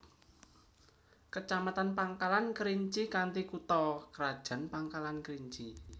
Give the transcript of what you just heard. Kecamatan Pangkalan Kerinci kanthi kutha krajan Pangkalan Kerinci